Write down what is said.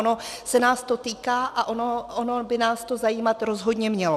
Ono se nás to týká a ono by nás to zajímat rozhodně mělo.